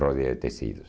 Rodia é de tecidos.